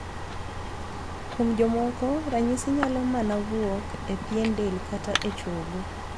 Kuom jomoko ranyisi nyalo manao wuok e pien del kata e chogo.